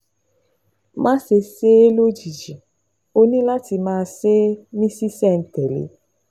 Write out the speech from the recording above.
Máṣe ṣe é lójijì, ó ní láti máa ṣe é ní ṣísẹ̀-n-tẹ̀lé